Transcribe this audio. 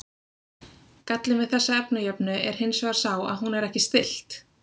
Gallinn við þessa efnajöfnu er hins vegar sá að hún er ekki stillt.